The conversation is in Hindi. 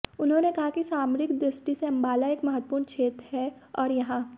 उन्होंने कहा कि सामरिक दृष्टि से अम्बाला एक महत्वपूर्ण क्षेत्र है और यहां